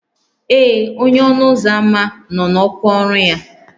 Ee, onye ọnụ ụzọ ámá nọ n'ọkwa ọrụ ya